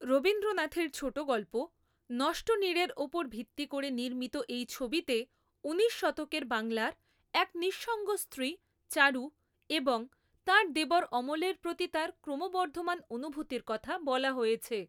রবীন্দ্রনাথের ছোটগল্প, 'নষ্টনীড়' এর ওপর ভিত্তি করে নির্মিত এই ছবিতে ঊনিশ শতকের বাংলার এক নিঃসঙ্গ স্ত্রী চারু এবং তাঁর দেবর অমলের প্রতি তাঁর ক্রমবর্ধমান অনুভূতির কথা বলা হয়েছে।